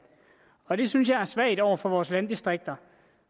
og det synes jeg er svagt over for vores landdistrikter